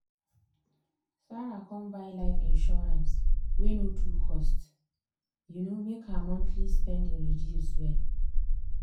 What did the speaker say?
sarah come buy life insurance wey no too cost um make her monthly spending reduce well.